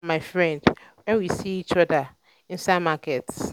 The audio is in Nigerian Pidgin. i wave for my friend wen we see each other inside market